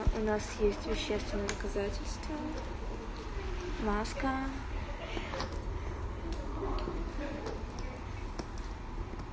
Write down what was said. у нас есть вещественные доказательства маска